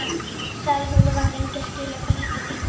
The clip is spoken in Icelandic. sagði hún og var lengi að skilja hvað þetta þýddi.